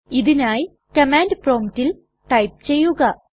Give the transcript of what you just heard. ഇതിനായി കമാൻഡ് promptൽ ടൈപ്പ് ചെയ്യുക